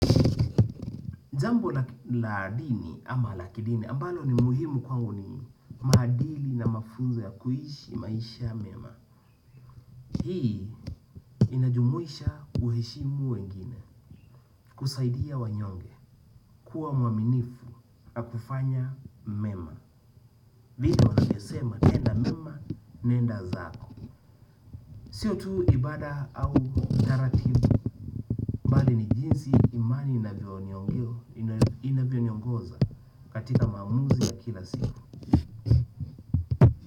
Jambo la dini ama la kidini ambalo ni muhimu kwangu ni maadili na mafunzo ya kuishi maisha mema. Hii inajumuisha kuheshimu wengine kusaidia wanyonge kuwa mwaminifu na kufanya mema. Vile unavyosema tenda mema nenda zako. Sio tu ibada au jara kifu bali ni jinsi imani inavyoniongoza katika mamuzi ya kila siku.